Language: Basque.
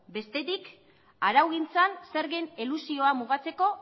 bestetik araugintzan zergen elusioa mugatzeko